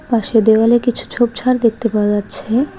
পাশে দেওয়ালে কিছু ঝোপ-ঝাড় দেখতে পাওয়া যাচ্ছে।